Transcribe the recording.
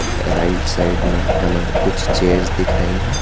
Right side में हमें कुछ चेयर्स दिख रही हैं।